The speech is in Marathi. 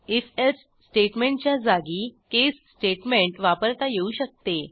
if एल्से स्टेटमेंटच्या जागी केस स्टेटमेंट वापरता येऊ शकते